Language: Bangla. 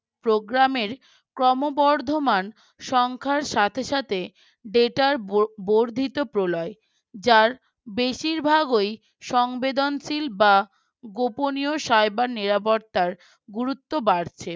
Programme র ক্রমবর্ধমান সংখ্যার সাথে সাথে data ব বর্ধিত প্রলয় যার বেশিরভাগই সংবেদনশীল বা গোপনীয় Server নিরাপত্তার গুরুত্ব বাড়ছে ।